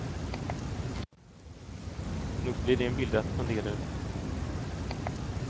Nog blir det en bild att fundera över.